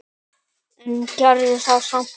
En gerði það samt.